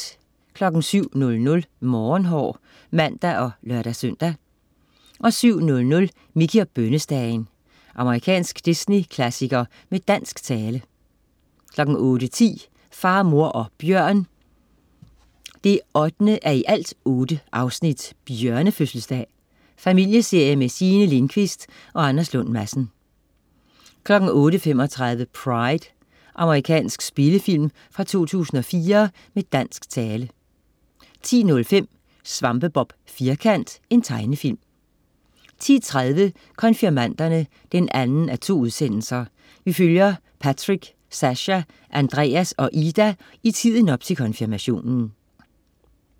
07.00 Morgenhår (man og lør-søn) 07.00 Mickey og bønnestagen. Amerikansk Disney-klassiker med dansk tale 08.10 Far, mor og bjørn 8:8. Bjørnefødselsdag. Familieserie med Signe Lindkvist og Anders Lund Madsen 08.35 Pride. Amerikansk spillefilm fra 2004 med dansk tale 10.05 Svampebob Firkant. Tegnefilm 10.30 Konfirmanderne 2:2. Vi følger Patrick, Sascha, Andreas og Ida i tiden op til konfirmationen